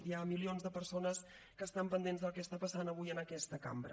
hi ha milions de persones que estan pendents del que està passant avui en aquesta cambra